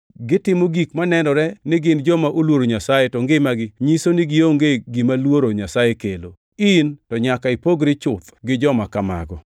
gitimo gik manenore ni gin joma oluoro Nyasaye to ngimagi nyiso ni gionge gima luoro Nyasaye kelo. In to nyaka ipogri chuth gi joma kamago.